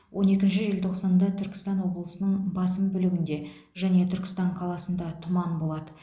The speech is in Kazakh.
он екінші желтоқсанда түркістан облысының басым бөлігінде және түркістан қаласында тұман болады